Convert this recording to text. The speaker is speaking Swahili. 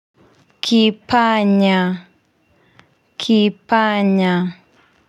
Kipanya, kipanya.